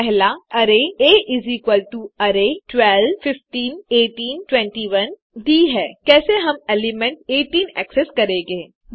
1अरै आ array12 15 18 21 दी है कैसे हम एलिमेंट 18 एक्सेस करेंगे